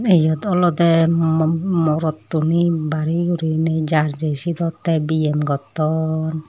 iyot olodey mo morottuney bari guriney ja jei sidot tey biyem gotton.